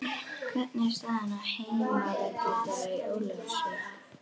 Hvernig er staðan á heimavelli þeirra í Ólafsvík?